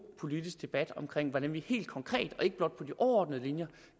politisk debat om hvordan vi helt konkret og ikke blot på de overordnede linjer